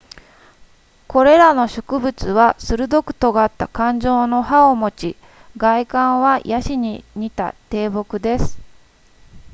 これらの植物は鋭く尖った冠状の葉を持ち外観はヤシに似た低木です